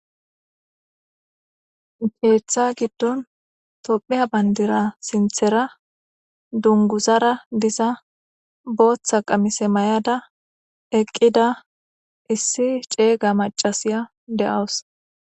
Keeththa giddon tompiya bayndira sinthera dunguzara diza booththa qamise may7ada eqqida issi ceeyga macasiya de7awus.